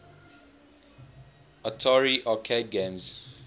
atari arcade games